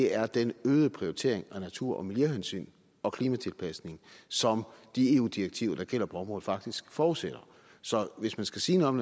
er den øgede prioritering af natur og miljøhensyn og klimatilpasning som de eu direktiver der gælder på området faktisk forudsætter så hvis man skal sige noget